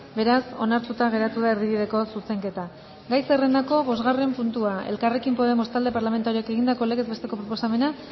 beraz onartuta geratu da erdibideko zuzenketa gai zerrendako bosgarren puntua elkarrekin podemos talde parlamentarioak egindako legez besteko proposamena